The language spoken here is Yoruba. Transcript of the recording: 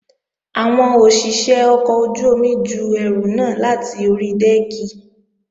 Àwọn òṣìṣé ọkọ̀ ojú-omi ju ẹrù náà láti ori dẹ́ẹ̀kì